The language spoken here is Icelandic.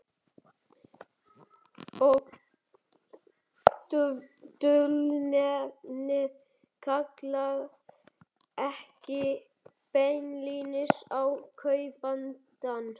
Og dulnefnið kallar ekki beinlínis á kaupandann.